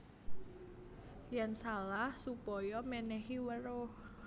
Yèn salah supaya mènèhi weruh